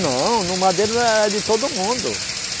Não, no Madeira não era, era de todo mundo.